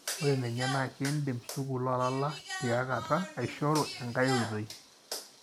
ore ninye, na kindim sukul olala tiakata aishoru enkae oitoi.